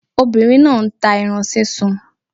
Obìnrin náà nta ẹran sísun